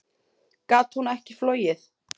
Gat hún ekki flogið?